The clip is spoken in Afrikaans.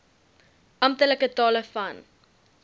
amptelike tale van